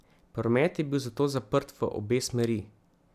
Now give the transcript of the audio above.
Promet je bil zato zaprt v obe smeri.